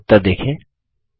अपने लिए उत्तर देखें